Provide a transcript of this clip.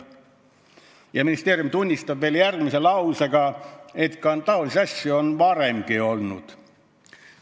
" Ja ministeerium tunnistab järgmise lausega, et taolisi asju on varemgi olnud.